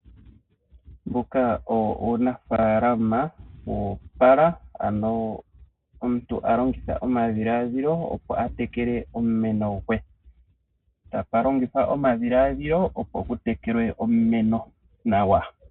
Uunafaalama owo opala ano omuntu a longitha omadhiladhilo opo atekeke omumeno gwe. Okwa longitha omadhiladhilo opo atekeke omumeno gwe nawa.